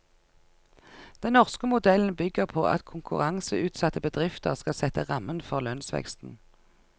Den norske modellen bygger på at konkurranseutsatte bedrifter skal sette rammen for lønnsveksten.